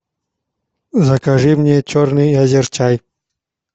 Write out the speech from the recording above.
закажи мне черный азерчай